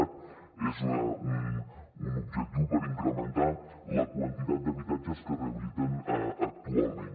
cat és un objectiu per incrementar la quantitat d’habitatges que es rehabiliten actualment